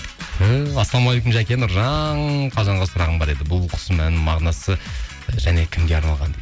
түһ ассалаумағалейкум жәке нұржан қалжанға сұрағым бар еді бұл бұл құсымның мағынасы және кімге арналған